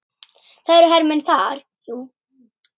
Það eru hermenn þar, jú.